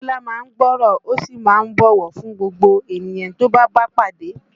Bọ́lá má ń gbọ́ ọ̀rọ̀, ó sì má ń bọ̀wọ̀ fún gbogbo ènìyàn tí ó bá bá pàdé